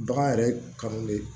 Bagan yɛrɛ kanulen